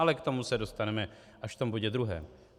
Ale k tomu se dostaneme až v tom bodě druhém.